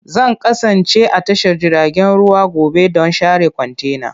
Zan kasance a tashar jiragen ruwa gobe don share kwantenana.